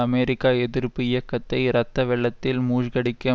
America எதிர்ப்பு இயக்கத்தை இரத்த வெள்ளத்தில் மூழ்கடிக்க